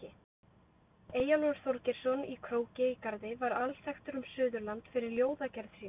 Eyjólfur Þorgeirsson í Króki í Garði var alþekktur um Suðurland fyrir ljóðagerð sína.